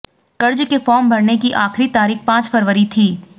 कर्ज के फॉर्म भरने की आखिरी तारीख पांच फरवरी थी